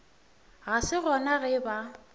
ga se gona ge ba